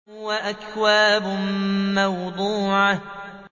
وَأَكْوَابٌ مَّوْضُوعَةٌ